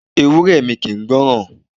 Ewúré mi kì ń gbọ́ràn.